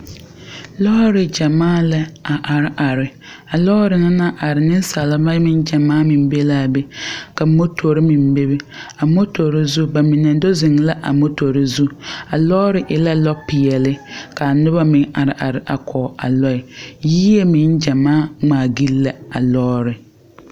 Lɔɔre gyamaa la a are are a lɔɔre na naŋ are niŋsaleba meŋ gyamaa meŋ be laa be ka motore meŋ bebe a motore zu ba mine do zeŋ la a motore zu a lɔɔre e la lɔpeɛɛle kaa noba meŋ are are a kɔg a lɔɛ yie meŋ gyamaa ngmaagyile la a lɔɔre.